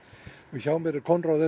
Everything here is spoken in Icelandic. hjá mér er Konráð s